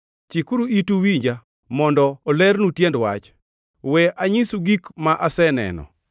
“Chikuru itu uwinja mondo olernu tiend wach; we anyisu gik ma aseneno,